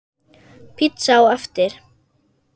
Pizza á eftir.